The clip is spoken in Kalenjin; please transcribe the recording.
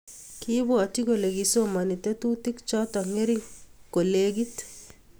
Kiibwatyi kole kisomani tetutik choto ngering kolegit